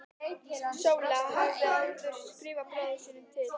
Sóla hafði áður skrifað bróður sínum til